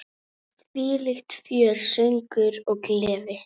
Þvílíkt fjör, söngur og gleði.